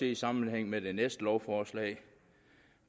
i sammenhæng med det næste lovforslag